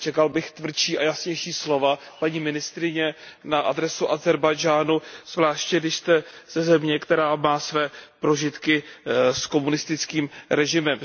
Čekal bych tvrdší a jasnější slova, paní ministryně, na adresu Ázerbájdžánu, zvláště když jste ze země, která má své prožitky s komunistickým režimem.